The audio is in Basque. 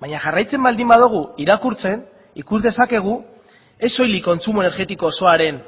baina jarraitzen baldin badugu irakurtzen ikus dezakegu ez soilik kontsumo energetiko osoaren